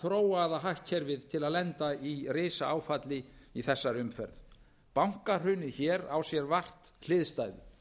varð fyrsta þróaða hagkerfið til að lenda í risaáfalli í þessari umferð bankahrunið hér á sér vart hliðstæðu